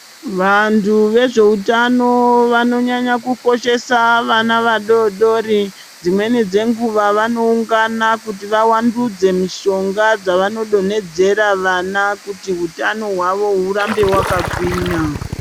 Vantu ve zveutano vano nyanya ku koshesa vana va dodori dzimweni dze nguva vano ungana kuti va wandudze mishonga dzavano donhedzera vana kuti hutano hwawo hurambe hwaka ngwinya.